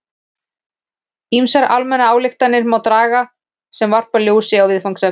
Ýmsar almennar ályktanir má þó draga sem varpa ljósi á viðfangsefnið.